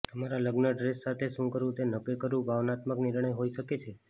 તમારા લગ્ન ડ્રેસ સાથે શું કરવું તે નક્કી કરવું ભાવનાત્મક નિર્ણય હોઈ શકે છે